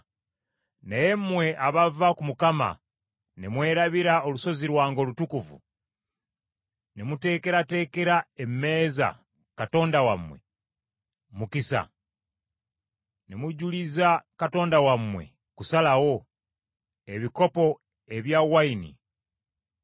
“Naye mmwe abava ku Mukama ne mwerabira olusozi lwange olutukuvu ne muteekerateekera emmeeza katonda wammwe, Mukisa, ne mujuliza katonda wammwe, Kusalawo, ebikopo eby’envinnyo,